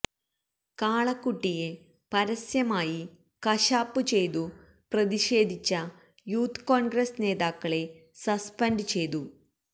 കാളക്കുട്ടിയെ പരസ്യമായി കശാപ്പു ചെയ്തു പ്രതിഷേധിച്ച യൂത്ത് കോൺഗ്രസ് നേതാക്കളെ സസ്പെൻഡ് ചെയ്തു